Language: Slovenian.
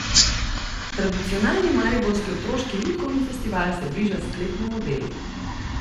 Tradicionalni mariborski otroški lutkovni festival se bliža sklepnemu delu.